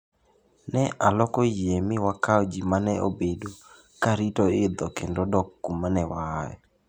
"Ne aloko yie mi wakao ji mane obedo ka rito idho kendo dok kuma ne waaye."